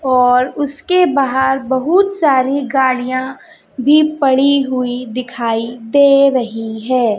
और उसके बाहार बहोत सारी गाड़ियां भी पड़ी हुई दिखाई दे रही है।